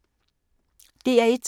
DR1